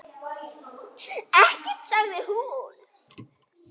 Ekkert, sagði hún.